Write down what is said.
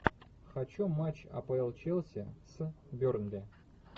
хочу матч апл челси с бернли